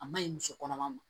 A maɲi muso kɔnɔma ma